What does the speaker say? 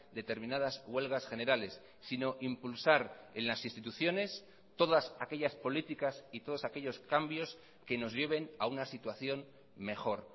determinadas huelgas generales sino impulsar en las instituciones todas aquellas políticas y todos aquellos cambios que nos lleven a una situación mejor